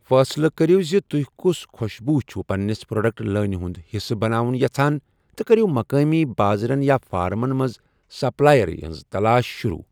فٲصلہٕ کٔرِو زِ تُہۍ کوٚس خۄشبوٗ چھِو پنِنِس پروڈکٹ لٲنہِ ہُنٛد حصہٕ بناوُن یژھان تہٕ کٔرِو مقٲمی بازرَن یا فارمَن منٛز سپلائریہِ ہٕنٛز تلاش شروٗع۔